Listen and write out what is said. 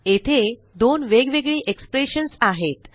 येथे दोन वेगवेगळी एक्सप्रेशन्स आहेत